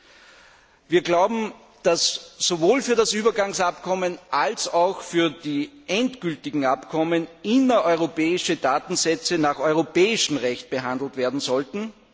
Viertens glauben wir, dass sowohl für das Übergangsabkommen als auch für die endgültigen Abkommen innereuropäische Datensätze nach europäischem Recht behandelt werden sollten.